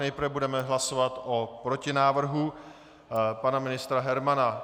Nejprve budeme hlasovat o protinávrhu pana ministra Hermana.